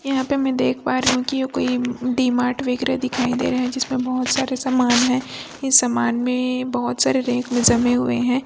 यहाँ पे मैं देख पा रही हूं कि ये कोई डी मार्ट वेगैरा दिखाई दे रहा है जिसमें बहुत सारे सामान है इस सामान में बहुत सारे रैक में जमे हुए हैं।